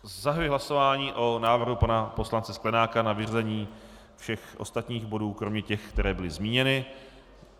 Zahajuji hlasování o návrhu pana poslance Sklenáka na vyřazení všech ostatních bodů kromě těch, které byly zmíněny.